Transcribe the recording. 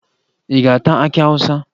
Ị ga-ata akị Awụsa?